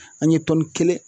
An ye tɔni kelen